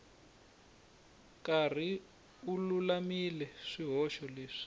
karhi u lulamisa swihoxo leswi